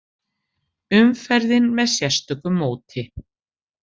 Umferðin með sérstöku móti